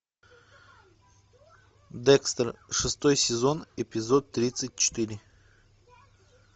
декстер шестой сезон эпизод тридцать четыре